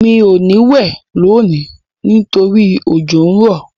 Mi ò ní wẹ̀ lónìí nítorí òjò n rọ́.